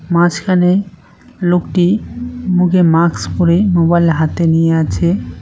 মাঝখানে লোকটি মুখে মাক্স পরে মোবাইল হাতে নিয়ে আছে।